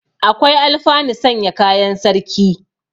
Akwai alfanu sanya kayan sarki.